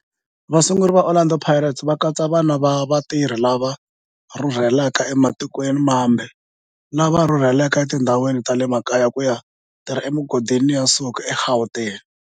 Vasunguri va Orlando Pirates va katsa vana va vatirhi lava rhurhelaka ematikweni mambe lava rhurheleke etindhawini ta le makaya ku ya tirha emigodini ya nsuku eGauteng.